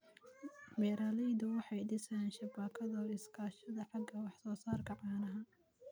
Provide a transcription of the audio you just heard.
Beeraleydu waxay dhisayaan shabakado iskaashato xagga wax-soo-saarka caanaha.